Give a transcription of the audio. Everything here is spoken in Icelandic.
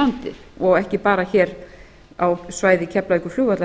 landið ekki bara hér á svæði keflavíkurflugvallar